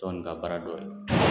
Tɔn nin ka baara dɔ ye.